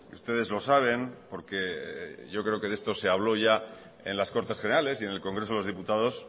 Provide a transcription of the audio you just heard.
ustedes lo saben porque yo creo que de esto se habló ya en las cortes generales y en el congreso de los diputados